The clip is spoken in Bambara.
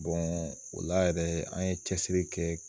o la yɛrɛ an ye cɛsiri kɛ